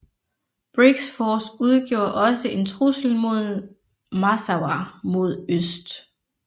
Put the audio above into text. Briggs Force udgjorde også en trussel mod Massawa mod øst